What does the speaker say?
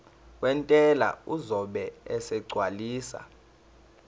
wentela uzobe esegcwalisa